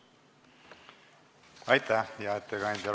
Aitäh, hea ettekandja!